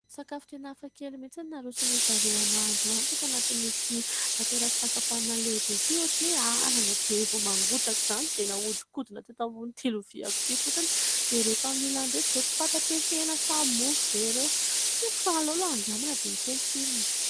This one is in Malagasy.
Sakafo tena hafakely mihitsiny no naroson- dry zareo ahy androany tato anatin' ity toeram-pisakafoanana lehibe ity ; ohatran'ny hoe anana be vao mangotraka izany , dia nahodikodina teto ambonin'ity loviako ity fotsiny, dia ireto amin'ny ilany ireto izao tsy fantatro hoe : hena sa mofo ve ireo ? Tsy haiko fa aleo aloha handramana dia hita eo ny tsirony e !